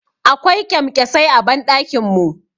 Akwai Ƙyamƙyasai a banɗakin mu.